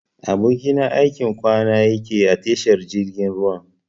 Abokina aikin kwana yakeyi a tashar jirgin ruwan.